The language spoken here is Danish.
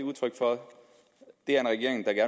det udtryk for det er en regering der